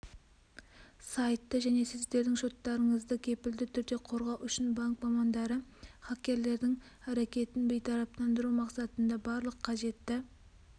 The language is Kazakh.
сайтты және сіздердің шоттарыңызды кепілді түрде қорғау үшін банк мамандары хакерлердің әрекетін бейтараптандыру мақсатында барлық қажетті